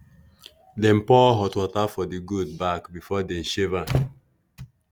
dem pour hot water for the goat back before dem shave am.